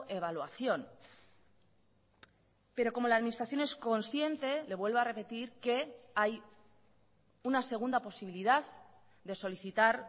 evaluación pero como la administración es consciente le vuelvo a repetir que hay una segunda posibilidad de solicitar